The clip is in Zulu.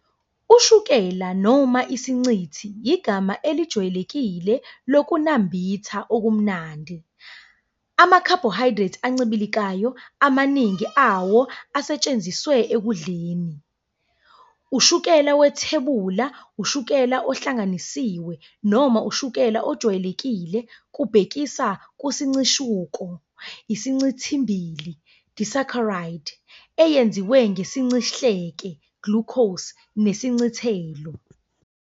Ushukela noma isiNcithi igama elejwayelekile lokunambitha okumnandi, ama-carbohydrate ancibilikayo, amaningi awo asetshenziswa ekudleni. Ushukela wethebula, ushukela ohlanganisiwe, noma ushukela ojwayelekile, kubhekisa kusincishuko, isincithimbili, disaccharide" eyenziwe ngesincihleke, glucose, nesincithelo.